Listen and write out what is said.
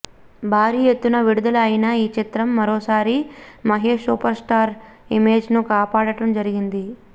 భారీ ఎత్తున విడుదల అయిన ఈ చిత్రం మరోసారి మహేష్ సూపర్ స్టార్ ఇమేజ్ను కాపాడటం జరిగింది